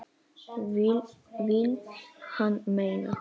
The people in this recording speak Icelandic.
Vill hann meina.